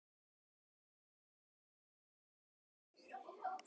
Allt í einu heyrðum við hljóð.